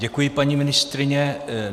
Děkuji, paní ministryně.